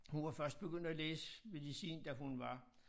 Hun var først begyndt at læse medicin da hun var